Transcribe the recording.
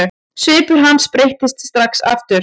Svipur hans breyttist strax aftur.